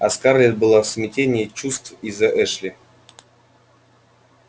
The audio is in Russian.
а скарлетт была в смятении чувств из-за эшли